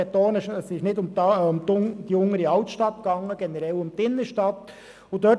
Ich betone, dass es nicht um die Untere Altstadt, sondern generell um die Innenstadt ging.